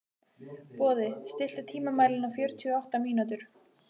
Boði, stilltu tímamælinn á fjörutíu og átta mínútur.